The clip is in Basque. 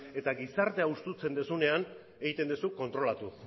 eta gizartea hustutzen duzunean egiten duzu kontrolatu